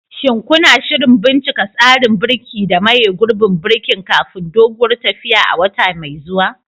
Shin kuna shirin bincika tsarin birki da maye gurbin birkin kafin doguwar tafiyar a wata mai zuwa?